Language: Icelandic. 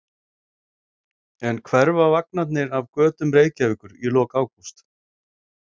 En hverfa vagnarnir af götum Reykjavíkur í lok ágúst?